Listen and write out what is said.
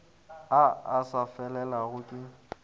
a a sa felelago ke